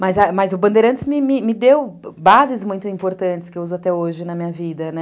Mas mas o Bandeirantes me deu bases muito importantes que eu uso até hoje na minha vida, né?